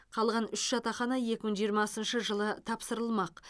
қалған үш жатақхана екі мың жиырмасыншы жылы тапсырыламақ